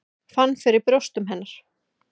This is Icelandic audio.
Fann fyrir brjóstum hennar.